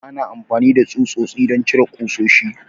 Ana amfani da tsutsotsi don cire ƙusoshi.